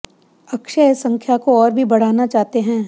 अक्षय इस संख्या को और भी बढ़ाना चाहते हैं